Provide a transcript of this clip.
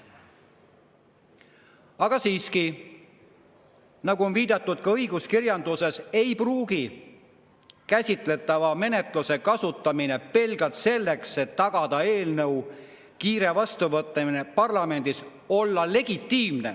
Aga nagu on viidatud ka õiguskirjanduses, ei pruugi käsitletava menetluse kasutamine pelgalt selleks, et tagada eelnõu kiire vastuvõtmine parlamendis, olla legitiimne.